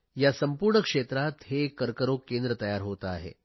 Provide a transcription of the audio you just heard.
या संपूर्ण क्षेत्रात हे एक कर्करोग केंद्र तयार होते आहे